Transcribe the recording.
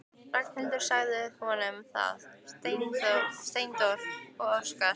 Ragnhildur sagði honum það: Steindór og Óskar.